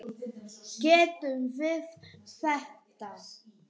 Getum við þetta?